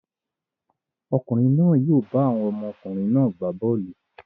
Ọkùnrin náà yóò bá àwọn ọmọkùnrin náà gbá bọ́ọ́lù.